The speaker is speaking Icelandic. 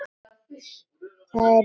Það er í tísku.